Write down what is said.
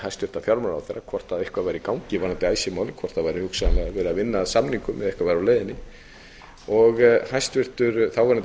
hæstvirtan fjármálaráðherra hvort eitthvað væri í gangi varðandi icesave málið hvort það væri hugsanlega verið að vinna að samningum eða eitthvað væri á leiðinni hæstvirtur þáverandi fjármálaráðherra kvað